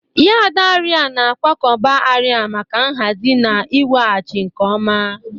Yad arịa na-akwakọba arịa maka nhazi na iweghachi nke ọma.